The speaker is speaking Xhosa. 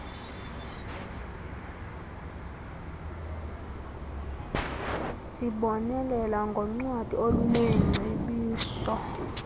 zibonelela ngoncwadi oluneengcebiso